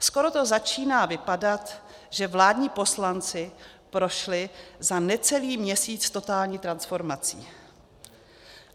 Skoro to začíná vypadat, že vládní poslanci prošli za necelý měsíc totální transformací.